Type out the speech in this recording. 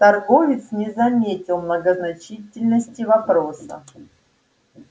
торговец не заметил многозначительности вопроса